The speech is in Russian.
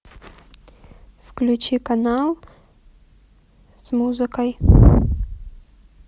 включи канал с музыкой